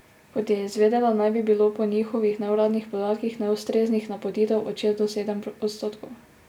Kot je izvedela, naj bi bilo po njihovih neuradnih podatkih neustreznih napotitev od šest do sedem odstotkov.